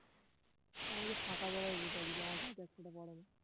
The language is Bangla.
তো আমি তো ফাঁকা জায়গায় বসে আছি কৈ আমার গায়ে তো এক ফোঁটা পড়ে না